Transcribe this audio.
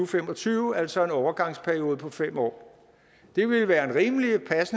fem og tyve altså en overgangsperiode på fem år det ville være en rimelig